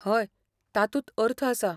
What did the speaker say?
हय, तातूंत अर्थ आसा.